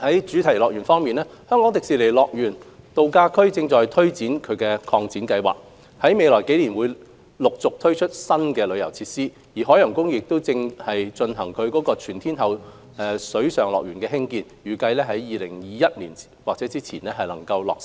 主題樂園方面，香港迪士尼樂園度假區正推行擴展計劃，於未來幾年將陸續推出新遊樂設施，而海洋公園正在興建全天候水上樂園，預計於2021年或之前落成。